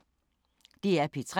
DR P3